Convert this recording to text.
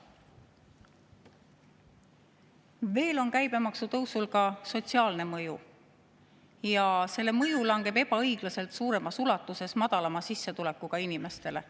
Veel on käibemaksu tõusul sotsiaalne mõju ja selle mõju langeb ebaõiglaselt suuremas ulatuses madalama sissetulekuga inimestele.